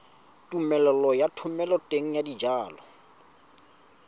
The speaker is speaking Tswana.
tumelelo ya thomeloteng ya dijalo